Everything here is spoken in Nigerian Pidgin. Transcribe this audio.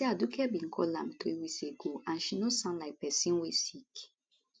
e say aduke bin call am three weeks ago and she no sound like pesin wey sick